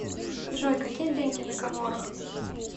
джой какие деньги на коморах